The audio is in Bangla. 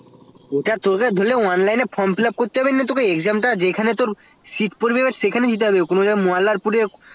ওটা তোর online এ form বা exam দিতে হয় যেমন মোল্লারপুরে